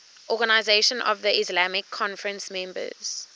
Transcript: organisation of the islamic conference members